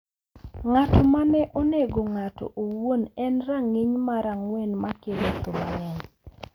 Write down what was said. Ng’ato ma ne onego ng’ato owuon en e rang’iny mar ang’wen ma kelo tho mang’eny.